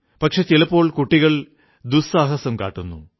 പക്ഷേ ചിലപ്പോൾ കുട്ടികൾ ദുസ്സാഹസം കാട്ടുന്നു